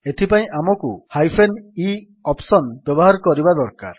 ଏଥିପାଇଁ ଆମକୁ e hyphen ଏ ଅପ୍ସନ୍ ବ୍ୟବହାର କରିବା ଦରକାର